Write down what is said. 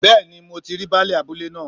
Bẹ́ẹ̀ni mo ti rí baálè abúlé náà